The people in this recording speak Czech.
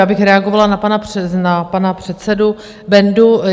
Já bych reagovala na pana předsedu Bendu.